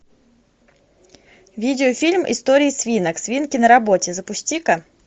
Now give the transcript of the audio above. видеофильм история свинок свинки на работе запусти ка